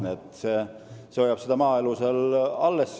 Need hoiavad maaelu alles.